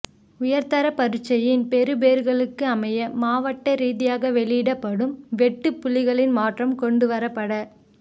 உயர்தர பரீட்சையின் பெறுபேறுகளுக்கு அமைய மாவட்ட ரீதியாக வெளியிடப்படும் வெட்டுப் புள்ளிகளில் மாற்றம் கொண்டுவரப்பட